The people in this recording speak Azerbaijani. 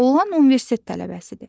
Oğlan universitet tələbəsidir.